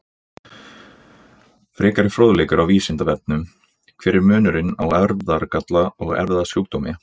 Frekari fróðleikur á Vísindavefnum: Hver er munurinn á erfðagalla og erfðasjúkdómi?